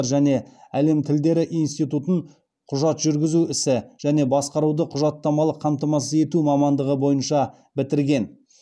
және әлем тілдері институтын құжат жүргізу ісі және басқаруды құжаттамалық қамтамасыз ету мамандығы бойынша бітірген